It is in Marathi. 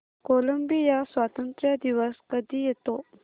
कोलंबिया स्वातंत्र्य दिवस कधी येतो